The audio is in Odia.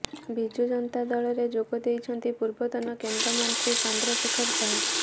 ବିଜୁ ଜନତା ଦଳରେ ଯୋଗ ଦେଇଛନ୍ତି ପୂର୍ବତନ କେନ୍ଦ୍ର ମନ୍ତ୍ରୀ ଚନ୍ଦ୍ରଶେଖର ସାହୁ